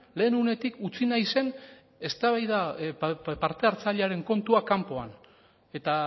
lehen unetik utzi nahi zen eztabaida parte hartzailearen kontua kanpoan eta